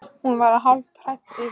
Hún var hálf hrædd við hann.